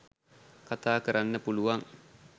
කතා කරන්න පුළුවන්.